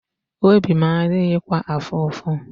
Obi m adịghịkwa afụ ụfụ.